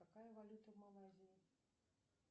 какая валюта в малайзии